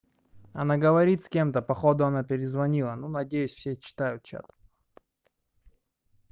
она говорит с кем-то походу она перезвонила ну надеюсь все читают чат